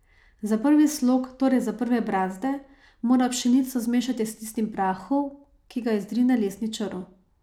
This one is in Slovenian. Za prvi slog, torej za prve brazde, mora pšenico zmešati s tistim prahom, ki ga izrine lesni črv.